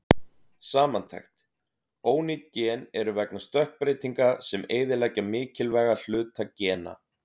Samantekt: Ónýt gen eru vegna stökkbreytinga sem eyðileggja mikilvæga hluta gena.